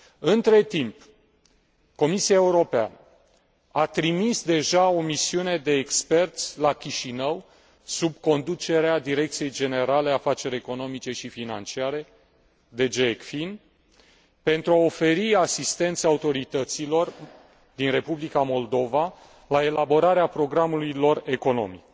Între timp, Comisia Europeană, a trimis deja o misiune de experți la Chișinău, sub conducerea Direcției Generale Afaceri economice și financiare DG ECFIN, pentru a oferi asistența autorităților din Republica Moldova la elaborarea programului lor economic.